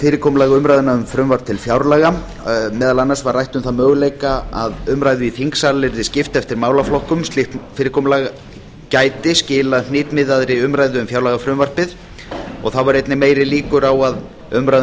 fyrirkomulag umræðna um frumvarp til fjárlaga meðal annars var rætt um þann möguleika að umræðu í þingsal yrði skipt eftir málaflokkum slíkt fyrirkomulag gæti að skila hnitmiðaðri umræðu um fjárlagafrumvarpið þá yrðu einnig meiri líkur á að umræða um